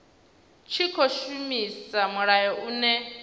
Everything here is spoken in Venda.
tshi khou shumisa mulayo une